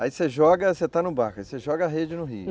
Aí você joga, você está no barco, aí você joga a rede no rio.